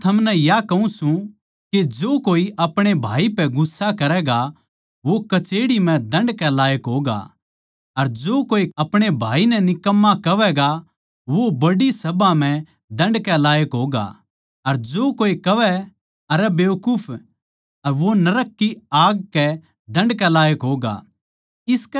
पर मै थमनै या कहूँ सूं के जो कोए अपणे भाई पे गुस्सा करैगा वो कचेह्ड़ी म्ह दण्ड के लायक होगा अर जो कोए अपणे भाई नै निकम्मा कहवैगा वो बड्डी सभा म्ह दण्ड के लायक होगा अर जो कोए कहवै अरै बेकूफ वो नरक की आग के दण्ड के लायक होगा